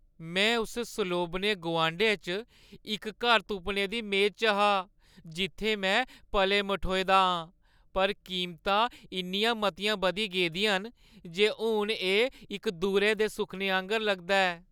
मैं उस सलोबने गुआंढै च इक घर तुप्पने दी मेद च हा जित्थै में पले-मठोए दा आं, पर कीमतां इन्नियां मतियां बधी गेदियां न जे हून एह् इक दूरै दे सुखने आंह्‌गर लगदा ऐ।